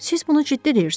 Siz bunu ciddi deyirsiniz?